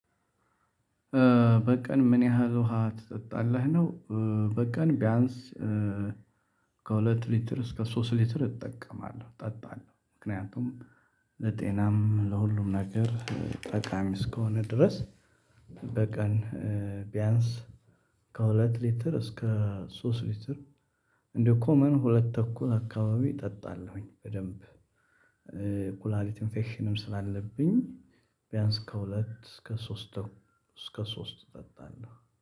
በቀን ምን ያህል ውሃ ትጠጣለህ ነው? በቀን ቢያንስ ከሁለት ሊትር እስከ ሶስት ሊትር እጠቀማለሁ እጠጣለሁ። ምክንያቱም ለጤናም ለሁሉም ነገር ጠቃሚ እስከሆነ ድረስ። በቀን ቢያንስ ከሁለት ሊትር እስከ ሶስት ሊትር። እንደው ኮመን ሁለት ተኩል አካባቢ እጠጣለሁኝ በደንብ። ኩላሊት ኢንፌክሽንም ስላለብኝ ቢያንስ ከሁለት እስከ ሶስት ተኩ እስከ ሶስት እጠጣለሁ